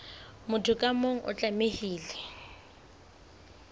motho ka mong o tlamehile